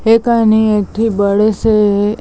ए कनि एक ठी बड़े से--